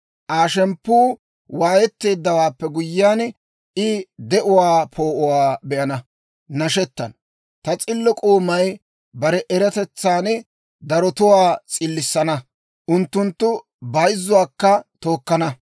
Aa shemppuu waayetteeddawaappe guyyiyaan, I de'uwaa poo'uwaa be'ana; nashettana. Ta s'illo k'oomay bare eratetsan darotuwaa s'illissana; unttunttu bayzzuwaakka tookkana.